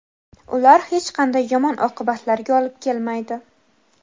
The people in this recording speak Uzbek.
Ular hech qanday yomon oqibatlarga olib kelmaydi.